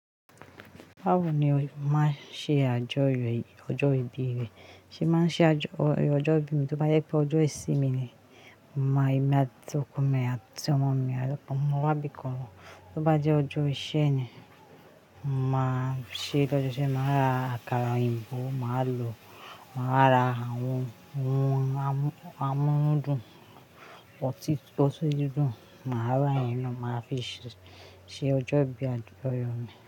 Báwo ni o máa ṣe àjọyọ̀ ọjọ́ ìbí rẹ? Ṣé máa ṣe àjọyọ̀ ọjọ́ ìbí mi? Tó bá yẹ pé ọjọ́ ìsinmi ni, màá yàn tí o kọ, màá yàn tí ọmọ mi a lọ́kàn, mo máa bá bí i kọ̀rò. Tó bá jẹ́ ọjọ́ ìṣẹ́ ni, màá ṣe ìrẹsì, màá ra àkàrà òyìnbó, màá lọ, màá ra ahọ́n, ahọ́n amóhuntmdun, ọtí dúdú, màá ra ẹyin lọ́ ma fi sè ṣe ọjọ́ ìbí àbí ọ̀yọ́ mi.